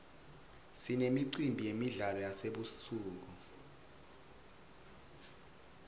sinemicimbi yemidlalo yasebusuku